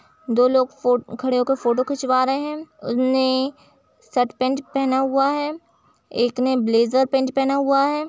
दो लोग फ खड़े होकर फोटो खिंचवा रहे हैं उने शर्ट पैंट पहना हुआ है एक ने ब्लेजर पैंट पेहना हुआ है।